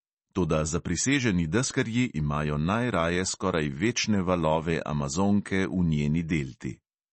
Toda zapriseženi deskarji imajo najraje skoraj večne valove amazonke v njeni delti.